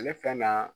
Ale fɛn na